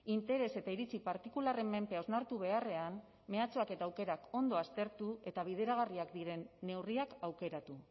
interes eta iritzi partikularren menpe hausnartu beharrean mehatxuak eta aukerak ondo aztertu eta bideragarriak diren neurriak aukeratu